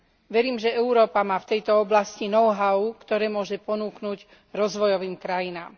Verím, že Európa má v tejto oblasti know how, ktoré môže ponúknuť rozvojovým krajinám.